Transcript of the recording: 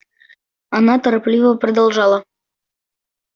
она торопливо продолжала